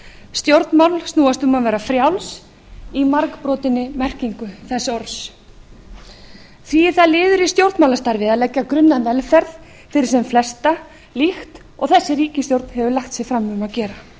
stjórnmál snúast um að vera frjáls í margbrotinni merkingu þess orðs því er það liður í stjórnmálastarfi að leggja grunn að velferð fyrir sem flesta líkt og þessi ríkisstjórn hefur lagt sig fram um að gera það